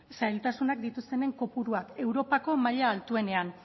zailtasunak dituztenen kopuruak europako maila altuenen